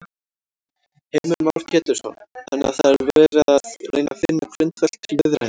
Heimir Már Pétursson: Þannig að það er verið að reyna finna grundvöll til viðræðna?